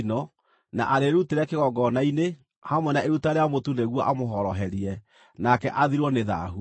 na arĩrutĩre kĩgongona-inĩ, hamwe na iruta rĩa mũtu nĩguo amũhoroherie, nake athirwo nĩ thaahu.